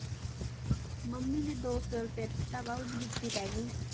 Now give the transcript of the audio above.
Mummy ਨੇ ਦੋ ਸੌ ਰੁਪਇਆ ਦਿੱਤਾ ਵਾ ਉਹਦੀ ਜੁੱਤੀ ਲੈਣੀ।